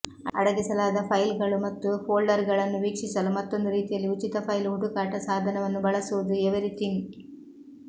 ಅಡಗಿಸಲಾದ ಫೈಲ್ಗಳು ಮತ್ತು ಫೋಲ್ಡರ್ಗಳನ್ನು ವೀಕ್ಷಿಸಲು ಮತ್ತೊಂದು ರೀತಿಯಲ್ಲಿ ಉಚಿತ ಫೈಲ್ ಹುಡುಕಾಟ ಸಾಧನವನ್ನು ಬಳಸುವುದು ಎವೆರಿಥಿಂಗ್